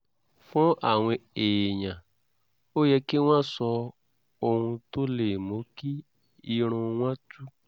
fún àwọn èèyàn ó yẹ kí wọ́n sọ ohun tó lè mú kí irun wọn tú